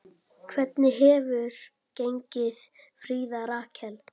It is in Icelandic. Hvernig hefur gengið, Fríða Rakel?